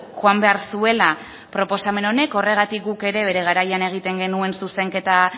joan behar zuela proposamen honek horregatik guk ere bere garaian egiten genuen zuzenketa